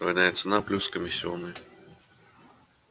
двойная цена плюс комиссионный